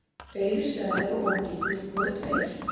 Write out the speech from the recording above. Auðir seðlar og ógildir voru tveir